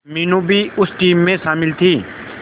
मीनू भी उस टीम में शामिल थी